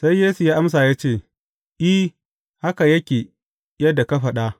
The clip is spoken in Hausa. Sai Yesu ya amsa ya ce, I, haka yake yadda ka faɗa.